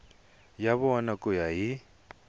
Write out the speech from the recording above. ya vona ku ya hi